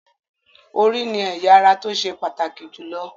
Orí ni ẹ̀ya ara tó ṣe pàtàkì jù lọ